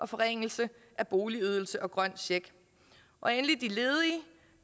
forringelse af boligydelsen og den grønne check og endelig